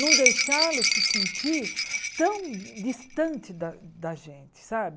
Não deixá-los se sentirem tão distantes da da gente, sabe?